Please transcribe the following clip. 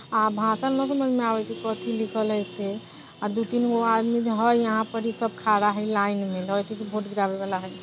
आ भाषा समझ मे नहीं आवात हई को लिखल हई दो तीन गो आदमी हई सब खड़ा हई लाइन मे वाला हई।